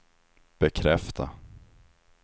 bekräfta